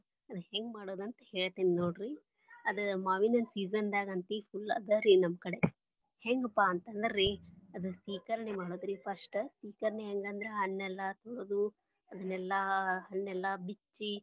ಅದ ಹೆಂಗ ಮಾಡೋದ ಅಂತ ಹೇಳ್ತೇನಿ ನೋಡ್ರಿ ಅದ ಮಾವಿನ ಹಣ್ಣಿನ season ದಾಗ ಅಂತಿ full ಅದ ರೀ ನಮ್ಮ ಕಡೆ ಹೆಂಗಪಾ ಅಂತಂದ್ರ ರೀ ಅದ ಸೀಕರ್ಣಿ ಮಾಡುದರೀ first ಸೀಕರ್ಣಿ ಹೆಂಗ ಅಂದ್ರ ಹಣ್ಣೆಲ್ಲ ತೊಳದು ಅದನ್ನೆಲ್ಲ ಹಣ್ಣೆಲ್ಲಾ ಬಿಚ್ಚಿ.